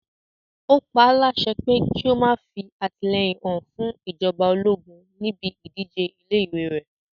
Ó paálásẹ pé kí ó má fí àtìlẹ́yìn hàn fún ìjọba ológun níbi ìdíje ilé ìwé rẹ̀